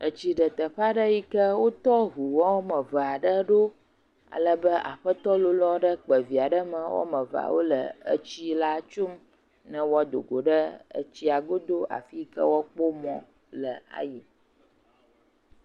Etsi ɖe teƒ eɖe yike wotɔ ŋu wɔme eve aɖe ɖo. Ale be aƒetɔ lolo aɖe yi ke kpe via ɖe eme wo ame evea wo le etsi la tsom ne woado go ɖe etsia godo afi yi ke woakpɔ mɔ ayi.